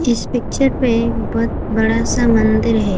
इस पिक्चर पे बहोत बड़ा सा मंदिर है।